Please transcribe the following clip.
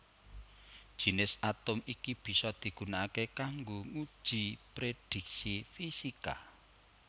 Jinis atom iki bisa digunakaké kanggo nguji prédhiksi fisika